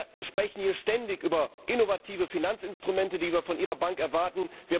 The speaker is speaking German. Wir sprechen ständig über innovative Finanzinstrumente, die wir von Ihrer Bank erwarten.